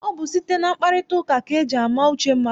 Ọ bụ site na mkparịtaụka ka eji ama uche mmadụ.